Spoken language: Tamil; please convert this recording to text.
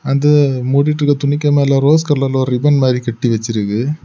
அந்த மூடிட்டிற்க துணிக்கு மேல ரோஸ் கலர்ல ஒரு ரிப்பன் மாதிரி கட்டி வச்சிருக்கு.